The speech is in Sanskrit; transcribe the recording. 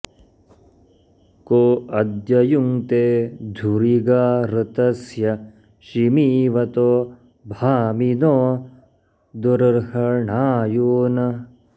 को अ॒द्य यु॑ङ्क्ते धु॒रि गा ऋ॒तस्य॒ शिमी॑वतो भा॒मिनो॑ दुर्हृणा॒यून्